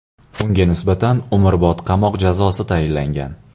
Unga nisbatan umrbod qamoq jazosi tayinlangan.